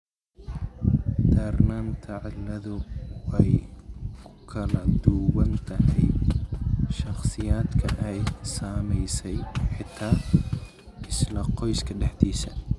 Darnaanta cilladdu way ku kala duwan tahay shakhsiyaadka ay saamaysay, xitaa isla qoyska dhexdiisa.